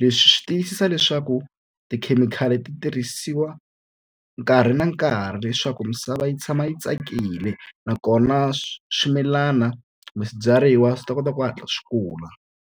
Leswi swi tiyisisa leswaku tikhemikhali ti tirhisiwa nkarhi na nkarhi leswaku misava yi tshama yi tsakile nakona swimilana kumbe swibyariwa swi ta kota ku hatla swi kula.